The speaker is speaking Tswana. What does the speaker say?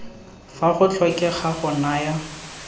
fa go tlhokega go naya